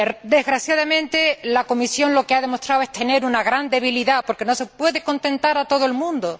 Desgraciadamente, la Comisión lo que ha demostrado es tener una gran debilidad, porque no se puede contentar a todo el mundo.